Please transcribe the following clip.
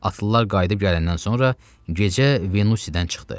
Atlılar qayıdıb gələndən sonra gecə Venusidən çıxdı.